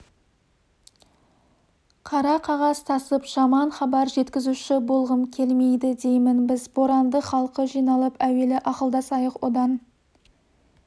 қара қағаз тасып жаман хабар жеткізуші болғым келмейді деймін біз боранды халқы жиналып әуелі ақылдасайық одан